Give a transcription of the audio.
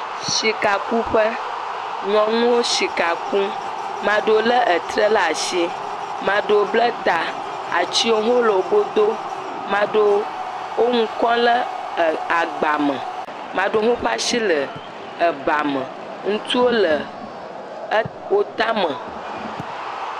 Sikakuƒe, nyɔnuwo sika kum, maɖewo le etrɛ ɖe asi, maɖewo bla ta, atiwo le wo go do, maɖewo le nu kɔm ɖe agba me amɖewo ƒe asi le bame, ŋutsuwo le wo tame.